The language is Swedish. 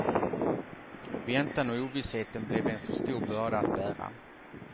Väntan och ovissheten blev en för stor börda att bära.